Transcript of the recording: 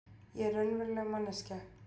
Ég er raunveruleg manneskja.